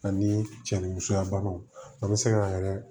Ani cɛ ni musoya banaw an bɛ se k'an yɛrɛ